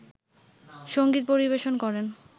সংগীত পরিবেশন করেন